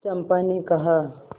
चंपा ने कहा